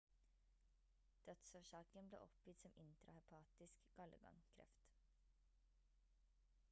dødsårsaken ble oppgitt som intrahepatisk gallegangkreft